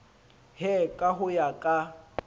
he ka ho ya ka